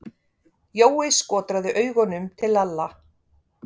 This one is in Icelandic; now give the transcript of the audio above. Jói skotraði augunum til Lalla.